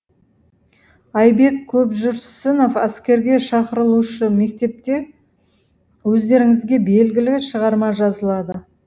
айбек көпжүрсінов әскерге шақырылушы мектепте өздеріңізге белгілі шығарма жазылады